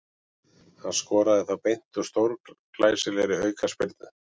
Hann skoraði þá beint úr stórglæsilegri aukaspyrnu.